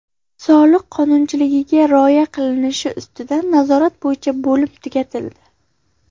Soliq qonunchiligiga rioya qilinishi ustidan nazorat bo‘yicha bo‘lim tugatildi.